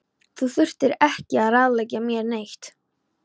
Þú þarft ekki að ráðleggja mér neitt.